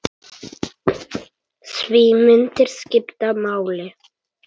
Því myndir skipta máli.